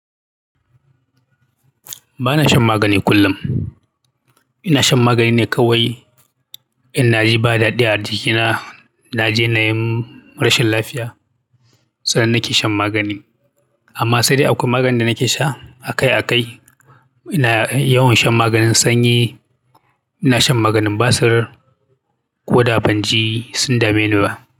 Ba na shan magani kullum. Ina shan magani ne kawai in na ji ba daɗi a jikina, na je na yi rashin lafiya, sannan na ke shan magani. Amma sai dai akwai maganin da nake sha akai akai ina yawan shan maganin sanyi, ina shan maganin basir ko da banji sun dame ni ba.